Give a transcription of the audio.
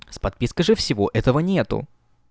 с подпиской же всего этого нету